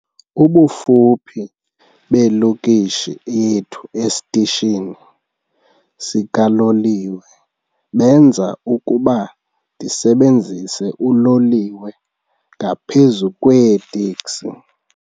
Ubufuphi belokishi yethu esitishini sikaloliwe benza ukuba ndisebenzise uloliwe ngaphezu kweeteksi.